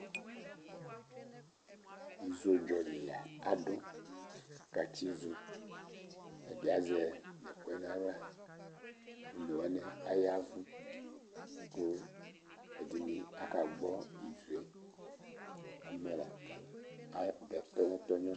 Ozodzɔ li la kʋ adu katsi izo Ɛdí azɛ ɛkʋyɛ nʋ aɣla, ɔne wani ayavʋ kʋ ɛdiní akagbɔ izo kʋ abɛ kpɛnɛ kpɛnɛ